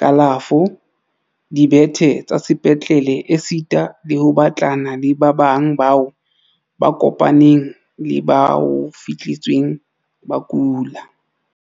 kalafo, dibethe tsa sepetlele esita le ho batlana le ba bang bao ba kopaneng le ba ho fihletsweng ba kula.